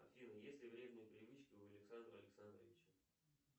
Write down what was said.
афина есть ли вредные привычки у александра александровича